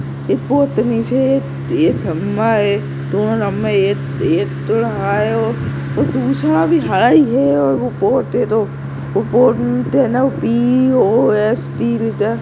एक बोर्ड टे नीचे एक एक खंबा है दोनों लंबे एक ये ये- थोड़ा हाय है और दूसरा भी हर ही है और वो बोद मे तो बोद मे तो पीओएसटी --